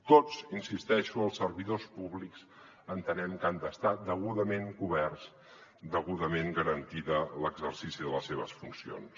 tots hi insisteixo els servidors públics entenem que han d’estar degudament coberts degudament garantit l’exercici de les seves funcions